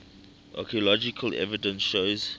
archaeological evidence shows